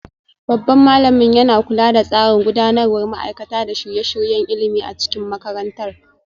Babban malamin yana kula da tsarin gudanarwa, gudanarwar ma'aikata, da shirye-shiryen ilimi a cikin makarantar.